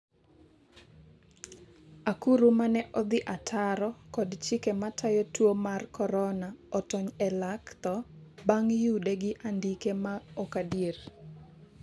akuru mane odhi ataro kod chike matayo tuo mar Korona otony e lak tho bang' yude gi andike ma ok adier